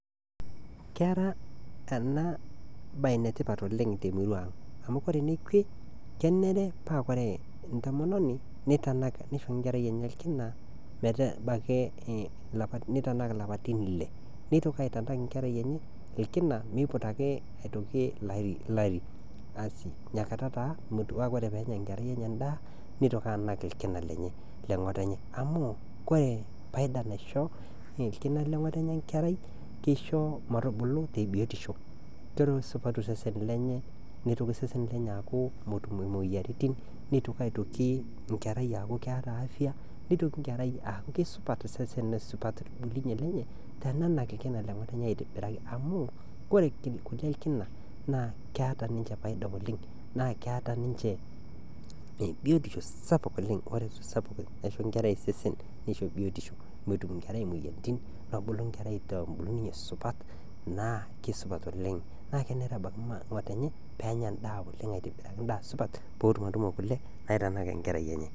Kera ena baye ene tipat ooleng' te emurua aang'. Amu ore ene kwe kenare pee ore entomononi, neitanak, neisho enkerrai enye olkinametaa ebaiki neitanak ilapaitin ile. Neitoki ake aitanak enkerai enye olkina meiputaki olari asi. Ina kata taa metiu ana pore pee enya nkerai enye endaa, neitoki anak olkina lenye le ng'otonye. Amu, kore kore faida naisho olkina le ng'otonye enkerai, keisho metubulu te biotisho , nesupatu osesen lenye, neitoki osesen lenye aaku metum imoyiaritin neitoki aitoki eata enkerai afya, neitoki enkerai aaku keisupat osesen neaku keaku enkerai keisupat osesen neisupat embulunye enye tenenak olkina le ng'otonye aitobiraki. Amu ore kule olkina naa keata ninche faida oleng', naa keata ninche biotisho sapuk oleng' , neisho enkerai sesen sapuk oleng' neisho enkerrai biotisho, nemetum enkerai imoyiaritin, nebulu enkerai te embulunye supat, naa keisupat oleng', naa kenare neramat ng'otonye pee enya endaa oleng' aitobiraki endaa supat, peetum atutumo kule naatum aitanak enkerai enye